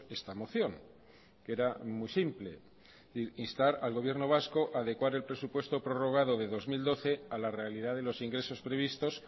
esta moción que era muy simple instar al gobierno vasco adecuar el presupuesto prorrogado de dos mil doce a la realidad de los ingresos previstos